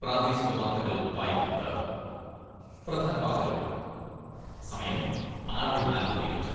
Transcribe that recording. പ്രാദേശിക വാർത്തകൾ, വായിക്കുന്നത് പ്രധാനവാർത്തകൾ സമയം, ആറെ നാൽപ്പത്തിയഞ്ച്